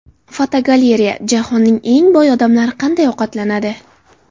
Fotogalereya: Jahonning eng boy odamlari qanday ovqatlanadi?.